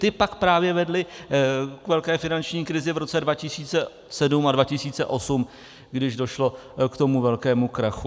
Ty pak právě vedly k velké finanční krizi v roce 2007 a 2008, když došlo k tomu velkému krachu.